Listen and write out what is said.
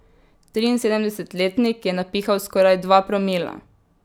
Triinsedemdesetletnik je napihal skoraj dva promila.